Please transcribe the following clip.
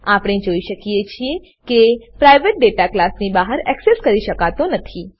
આપણે જાણીએ છીએ કે પ્રાઇવેટ ડેટા ક્લાસની બહાર એક્સેસ કરી શકતો નથી